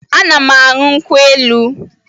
Ana m anyu nkwụ-elụ